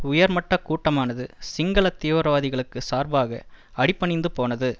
உயர் மட்ட கூட்டமானது சிங்கள தீவிரவாதிகளுக்கு சார்பாக அடிபணிந்து போனது